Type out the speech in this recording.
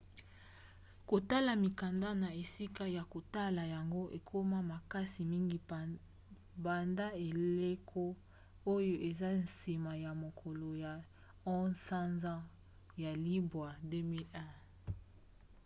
kotala mikanda na esika ya kotala yango ekoma makasi mingi banda eleko oyo eza nsima ya mokolo ya 11 sanza ya libwa 2001